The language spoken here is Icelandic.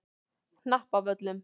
Hnappavöllum